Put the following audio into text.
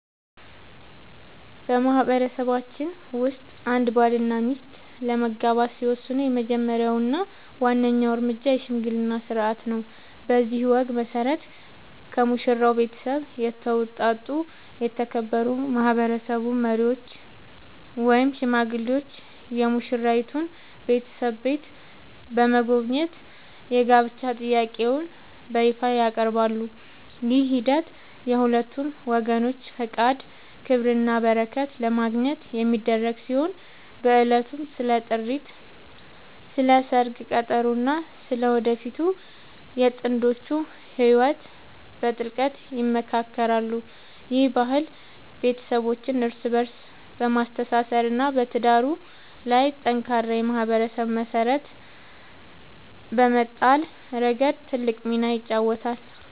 በማህበረሰባችን ውስጥ አንድ ባልና ሚስት ለመጋባት ሲወስኑ የመጀመሪያው እና ዋናው እርምጃ **የሽምግልና ሥርዓት** ነው። በዚህ ወግ መሠረት፣ ከሙሽራው ቤተሰብ የተውጣጡ የተከበሩ ማህበረሰብ መሪዎች ወይም ሽማግሌዎች የሙሽራይቱን ቤተሰብ ቤት በመጎብኘት የጋብቻ ጥያቄያቸውን በይፋ ያቀርባሉ። ይህ ሂደት የሁለቱን ወገኖች ፈቃድ፣ ክብርና በረከት ለማግኘት የሚደረግ ሲሆን፣ በዕለቱም ስለ ጥሪት፣ ስለ ሰርግ ቀጠሮ እና ስለ ወደፊቱ የጥንዶቹ ህይወት በጥልቀት ይመካከራሉ። ይህ ባህል ቤተሰቦችን እርስ በእርስ በማስተሳሰር እና በትዳሩ ላይ ጠንካራ የማህበረሰብ መሰረት በመጣል ረገድ ትልቅ ሚና ይጫወታል።